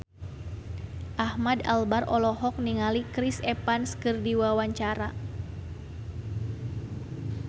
Ahmad Albar olohok ningali Chris Evans keur diwawancara